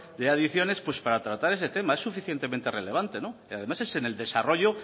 de adicciones para tratar ese tema es suficientemente relevante y además es en el desarrollo